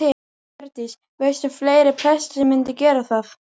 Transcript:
Hjördís: Veistu um fleiri presta sem myndu gera það?